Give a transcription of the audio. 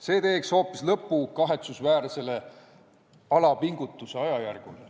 Need teeksid hoopis lõpu kahetsusväärsele alapingutuse ajajärgule.